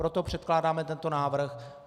Proto předkládáme tento návrh.